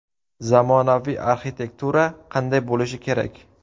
Zamonaviy arxitektura qanday bo‘lishi kerak?